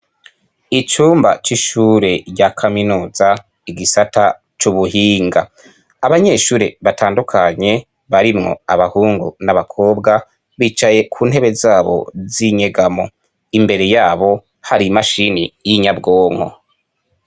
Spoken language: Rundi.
Abana batatu b'abanyeshuri bo mu mashuri amatoya bariko barava kw'ishure babiri bambaye umwambaro w'ishure usa n'ubururu wundi ari imbere yabo yambaye uwusanakaki bariko baca mu kabara baraka i bivu imbere yabo hari ibiti bitotahaye.